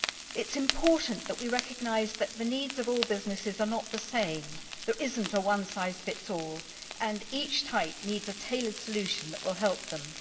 It is important that we recognise that the needs of all businesses are not the same. There is no one size fits all, and each type needs a tailored solution that will help them.